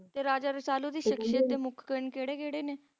ਤੇ Raja Rasalu ਦੀ ਸਖਸ਼ੀਅਤ ਤੇ ਮੁੱਖ ਕਣ ਕਿਹੜੇ ਕਿਹੜੇ ਨੇ